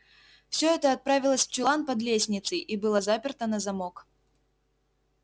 всё это отправилось в чулан под лестницей и было заперто на замок